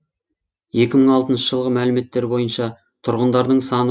екі мың алтыншы жылғы мәліметтер бойынша тұрғындарының саны